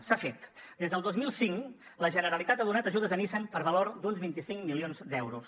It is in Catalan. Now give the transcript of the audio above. s’ha fet des del dos mil cinc la generalitat ha donat ajudes a nissan per valor d’uns vint cinc milions d’euros